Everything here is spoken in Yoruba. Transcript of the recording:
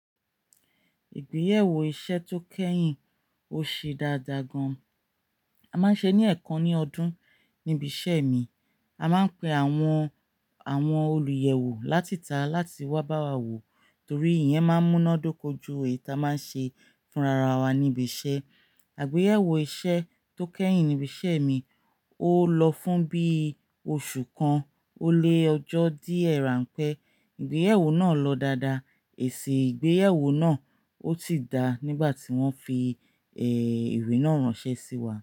Ìgbéyàwó iṣẹ́ tó kẹ́yìn, ó ṣe dáadáa gan. A máa ń ṣe ní ẹ̀ẹ̀kan ní ọdún níbi iṣẹ́ mi. A máa ń pe àwọn, àwọn olùyẹ̀wò láti tà, láti wá bá wa wò torí ìyẹn máa ń múná dóko ju èyí tá máa ń ṣe fún rara wa níbi iṣẹ́. Àgbéyẹ̀wò iṣẹ́ tó kẹ́yìn níbi iṣẹ́ mi, ó lọ fún bí oṣù kan ó lé ọjọ́ díẹ̀ rán pẹ́. Ìgbéyàwó náà lọ dáadáa. Èsì ìgbéyàwó náà ó ti dáa nígbà tí wọ́n fi, ẹ̀rí náà ránṣẹ́ sí wa.